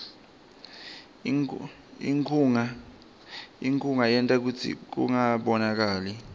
inkhunga yenta kutsi kungabonakali